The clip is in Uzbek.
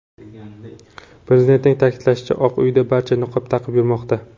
Prezidentning ta’kidlashicha, Oq uyda barcha niqob taqib yurmoqda.